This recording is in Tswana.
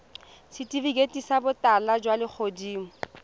setifikeiti sa botala jwa legodimo